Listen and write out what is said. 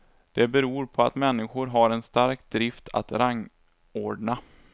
Det beror på att människor har en stark drift att rangordna.